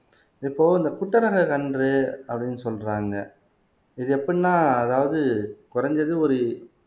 இப்போ இந்த கன்றுஅப்படீன்னு சொல்றாங்க இது எப்படின்னா அதாவது குறைஞ்சது ஒரு